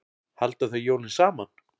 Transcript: Halda þau jólin saman?